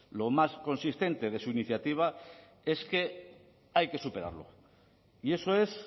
lo más consistente de su iniciativa es que hay que superarlo y eso es